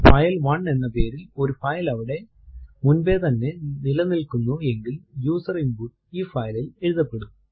file one എന്ന പേരിൽ ഒരു ഫൈൽ അവിടെ മുൻപേ തന്നെ നിലനില്കുന്നു എങ്കിൽ യൂസർ ഇൻപുട്ട് ഈ file ൽ എഴുതപ്പെടും